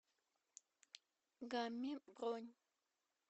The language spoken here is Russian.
гамми бронь